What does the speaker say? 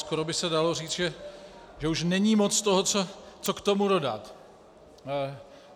Skoro by se dalo říct, že už není moc toho, co k tomu dodat.